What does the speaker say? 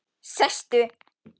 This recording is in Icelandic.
Sestu